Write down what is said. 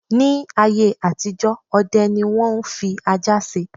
Ní ayé àtijọ́, ọdẹ ni wọ́n ń fi ajá ṣe.